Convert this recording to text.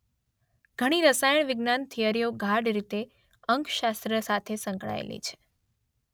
ઘણી રસાયણ વિજ્ઞાન થિયરીઓ ગાઢ રીતે અંકશાસ્ત્ર સાથે સંકળાયેલી છે.